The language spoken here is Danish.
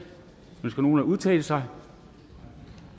ønsker nogen at udtale sig